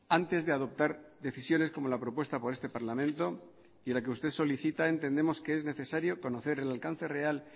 antes de adoptar decisiones como la propuesta por este parlamento y la que usted solicita entendemos que es necesario conocer el alcance real